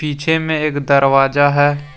छे में एक दरवाजा है।